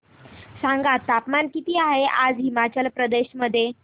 सांगा तापमान किती आहे आज हिमाचल प्रदेश मध्ये